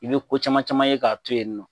I bɛ ko caman caman ye k'a to yen nɔ